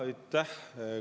Aitäh!